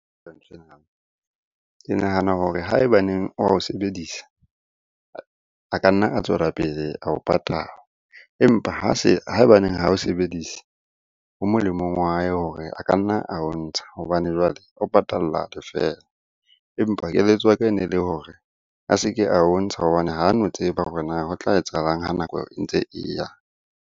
Ke nahana hore ha ebaneng ao sebedisa, a ka nna a tswela pele ao patala. Empa ha ebaneng ha o sebedise ho molemong wa hae hore a ka nna ao ntsha hobane jwale o patalla lefela. Empa keletso ya ka e ne le hore a se ke ao ntsha hobane ha no tseba hore na ho tla etsahalang ha nako e ntse e ya?